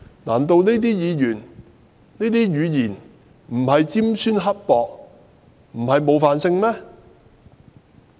難道這些言詞並非尖酸刻薄，不具冒犯性嗎？